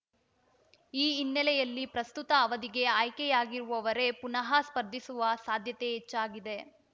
ಈ ಹಿನ್ನೆಲೆಯಲ್ಲಿ ಪ್ರಸ್ತುತ ಅವಧಿಗೆ ಆಯ್ಕೆಯಾಗಿರುವವರೇ ಪುನಃ ಸ್ಪರ್ಧಿಸುವ ಸಾಧ್ಯತೆ ಹೆಚ್ಚಾಗಿದೆ